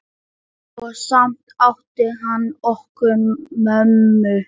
Og samt átti hann okkur mömmu.